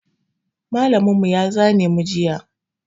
Mallam mu ta zane mu juya